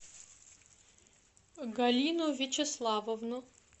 галину вячеславовну